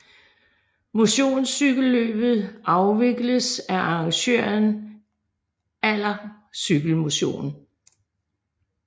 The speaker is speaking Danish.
Motionscykelløbet afvikles af arrangøren Aller Cykel Motion